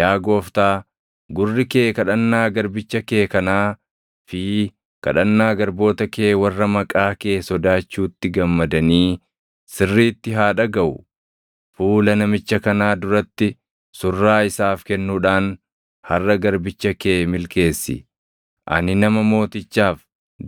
Yaa Gooftaa, gurri kee kadhannaa garbicha kee kanaa fi kadhannaa garboota kee warra maqaa kee sodaachuutti gammadanii sirriitti haa dhagaʼu. Fuula namicha kanaa duratti surraa isaaf kennuudhaan harʼa garbicha kee milkeessi.” Ani nama mootichaaf